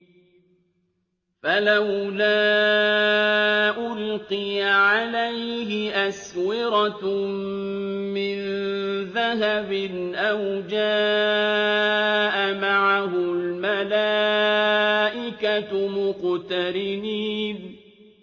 فَلَوْلَا أُلْقِيَ عَلَيْهِ أَسْوِرَةٌ مِّن ذَهَبٍ أَوْ جَاءَ مَعَهُ الْمَلَائِكَةُ مُقْتَرِنِينَ